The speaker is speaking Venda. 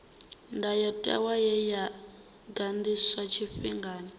ndayotewa ye ya ganḓiswa tshifhingani